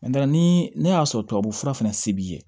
ni ne y'a sɔrɔ tubabu fura fana se b'i ye